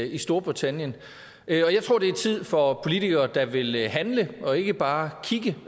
i storbritannien og jeg tror det er tid for politikere der vil handle og ikke bare